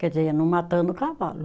Quer dizer, não matando o cavalo.